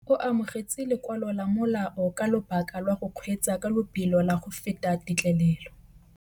O amogetse lokwalô lwa molao ka lobaka lwa go kgweetsa ka lobelo la go feta têtlêlêlô.